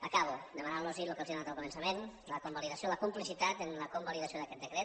acabo demanant los el que els he demanat al començament la convalidació la complicitat en la convalidació d’aquest decret